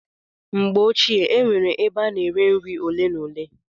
Na mgbe ochie, e nwere ebe a na-ere nri ole na ole.